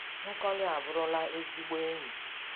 Nkoli aburula ezigbo enyi.